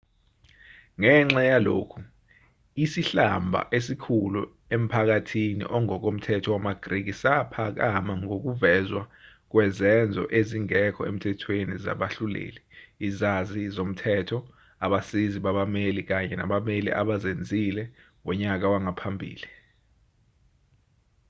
ngenxa yalokhu isihlamba esikhulu emphakathini ongokomthetho wamagriki saphakama ngokuvezwa kwezenzo ezingekho emthethweni zabahluleli izazi zomthetho abasizi babameli kanye nabameli abazenzile ngonyaka wangaphambili